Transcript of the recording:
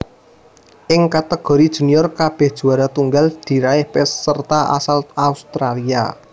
Ing kategori junior kabèh juwara tunggal diraih peserta asal Australia